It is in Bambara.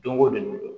Don o don